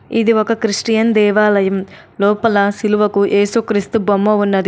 ఇది ఒక క్రిస్టియన్ దేవాలయం. లోపల సిలువకు ఏసుక్రీస్తు బొమ్మ ఉన్నది.